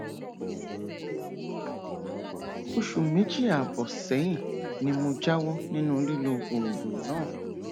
oṣù méjì ààbọ sẹyìn ni mo jáwọ nínú lílo oògùn náà